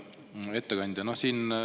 Hea ettekandja!